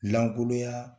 Lankolonya